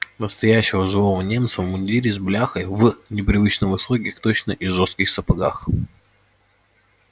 настоящего живого немца в мундире с бляхой в непривычно высоких точно и жёстких сапогах